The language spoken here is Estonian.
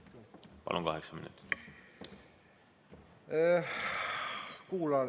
Palun, kaheksa minutit!